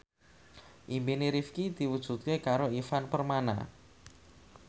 impine Rifqi diwujudke karo Ivan Permana